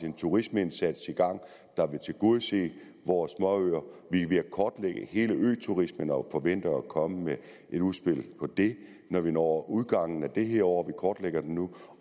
en turismeindsats i gang der vil tilgodese vores småøer vi er ved at kortlægge hele øturismen og forventer at komme med et udspil om det når vi når udgangen af det her år vi kortlægger det nu